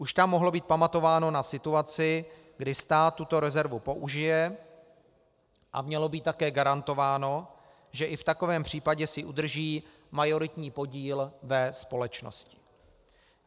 Už tam mohlo být pamatováno na situaci, kdy stát tuto rezervu použije, a mělo být také garantováno, že i v takovém případě si udrží majoritní podíl ve společnosti.